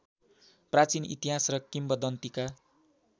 प्राचीन इतिहास र किम्वदन्तीका